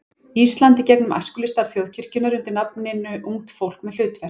Íslands í gegnum æskulýðsstarf þjóðkirkjunnar undir nafninu Ungt fólk með hlutverk.